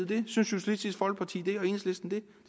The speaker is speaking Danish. det synes socialistisk folkeparti det